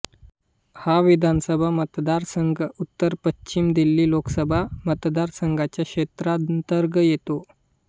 हा विधानसभा मतदारसंघ उत्तरपश्चिम दिल्ली लोकसभा मतदारसंघाच्या क्षेत्रांतर्गत येतो